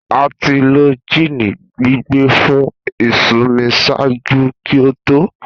A ti lo gin gbigbẹ fun isunmi ṣaaju ki o to.